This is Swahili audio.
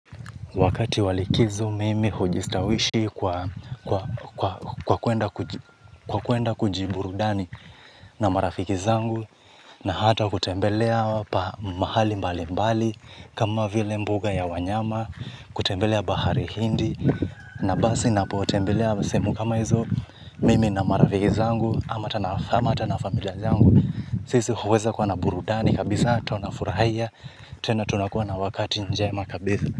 Wakati wa likizo mimi hujistawishi kwa kuenda kuji burudani na marafiki zangu na hata kutembelea mahali mbali mbali kama vile mbuga ya wanyama kutembelea bahari hindi na basi napo tembelea semu kama hizo mimi na marafiki zangu ama tana famata na familia zangu sisi huweza kwa na burudani kabisaa tunafurahia tena tunakuwa na wakati njema kabisa.